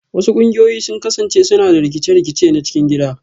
Wasu ƙungiyoyi sun kasance suna da rikice-rikice na cikin gida